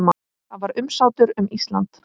Það var umsátur um Ísland.